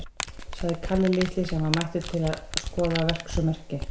sagði Kalli litli, sem var mættur til þess að skoða verksummerki.